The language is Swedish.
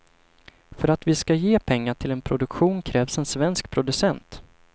För att vi ska ge pengar till en produktion krävs en svensk producent.